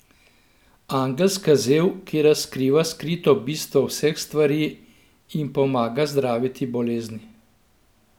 Angelska zel, ki razkriva skrito bistvo vseh stvari in pomaga zdraviti bolezni.